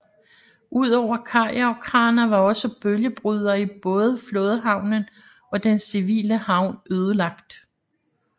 Udover kajer og kraner var også bølgebrydere i både flådehavnen og den civile havn ødelagt